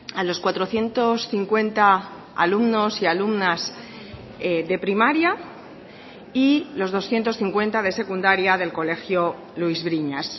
a los cuatrocientos cincuenta alumnos y alumnas de primaria y los doscientos cincuenta de secundaria del colegio luis briñas